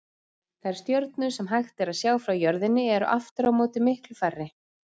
Þær stjörnur sem hægt er að sjá frá jörðinni eru aftur á móti miklu færri.